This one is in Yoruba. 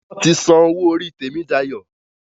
Wón tí són owó orí Temidayo.